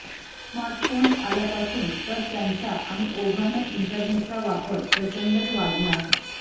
smartphones आल्यापासून तर त्यांचा आणि ओघानं इंटरनेटचा वापर प्रचंडच वाढला